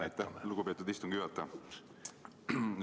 Aitäh, lugupeetud istungi juhataja!